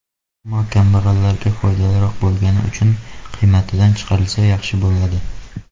Ammo kambag‘allarga foydaliroq bo‘lgani uchun qiymatidan chiqarilsa, yaxshi bo‘ladi.